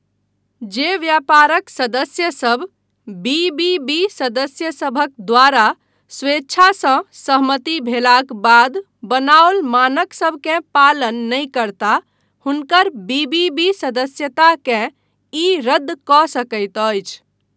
जे व्यापारक सदस्यसभ बी.बी.बी. सदस्यसभक द्वारा स्वेच्छासँ सहमति भेलाक बाद बनाओल मानकसभकेँ पालन नहि करता हुनकर बी.बी.बी. सदस्यताकेँ ई रद्द कऽ सकैत अछि।